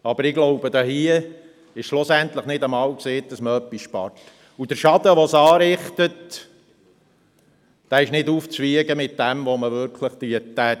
Doch ich denke, es ist hier nicht einmal sicher, ob man überhaupt etwas spart, und der Schaden, den man anrichtet, ist nicht aufzuwiegen mit dem, was man tatsächlich sparen würde.